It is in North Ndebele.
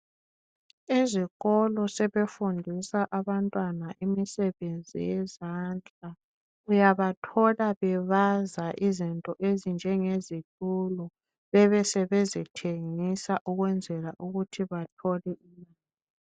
Ezikolo sebefundisa abantwana imisebenzi yezandla. Uyabathola bebaza izinto ezinjengezitulo, bebe sebezithengisa ukwenzela ukuthi bathole.